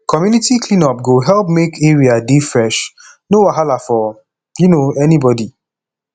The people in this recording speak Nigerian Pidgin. community clean up go help make area dey fresh no wahala for um anybody